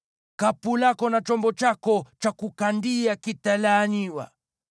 Kapu lako na chombo chako cha kukandia kitalaaniwa.